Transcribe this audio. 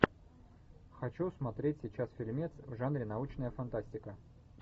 хочу смотреть сейчас фильмец в жанре научная фантастика